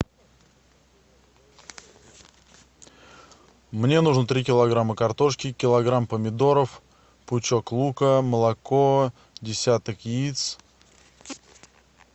мне нужно три килограмма картошки килограмм помидоров пучок лука молоко десяток яиц